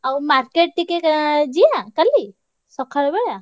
ଆଉ market ଟିକେ ଯିବା କାଲି? ସକାଳ ବେଳା?